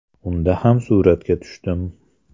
Unda ham suratga tushdim.